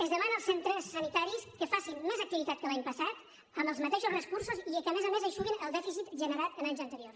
es demana als centres sanitaris que facin més activitat que l’any passat amb els mateixos recursos i que a més a més eixuguin el dèficit generat en anys anteriors